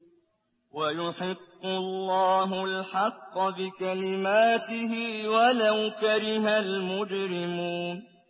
وَيُحِقُّ اللَّهُ الْحَقَّ بِكَلِمَاتِهِ وَلَوْ كَرِهَ الْمُجْرِمُونَ